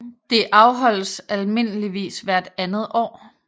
Det afholdes almindeligvis hvert andet år